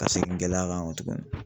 Ka seegin gɛlɛya kan kɔ tugunni.